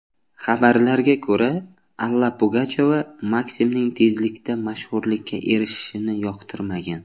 Xabarlarga ko‘ra, Alla Pugachyova Maksimning tezlikda mashhurlikka erishishini yoqtirmagan.